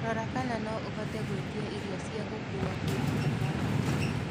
Rora kana no ũhote gũĩtĩa ĩrĩo cĩa gũkũwa kũma mũkawa ũcĩo